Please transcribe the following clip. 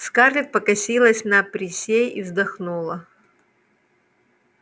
скарлетт покосилась на присей и вздохнула